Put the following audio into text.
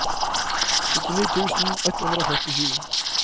syttini tusen ett hundre og førtisju